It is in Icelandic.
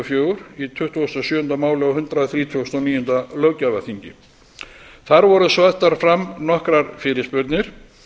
fjögur í tuttugasta og sjöunda máli á hundrað þrítugasta og níunda löggjafarþingi þar voru settar fram nokkrar fyrirspurnir